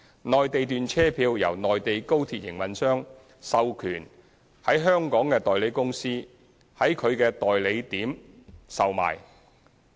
內地段車票由內地高鐵營運商授權在香港的代理公司在其代售點售賣。